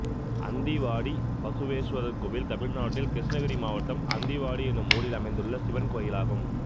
அந்திவாடி பசுவேஸ்வரர் கோயில் தமிழ்நாட்டில் கிருஷ்ணகிரி மாவட்டம் அந்திவாடி என்னும் ஊரில் அமைந்துள்ள சிவன் கோயிலாகும்